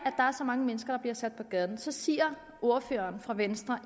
er så mange mennesker der bliver sat på gaden så siger ordføreren for venstre